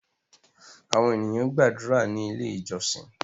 Àwọn ènìyàn gbàdúrà ní ilé ìjósìn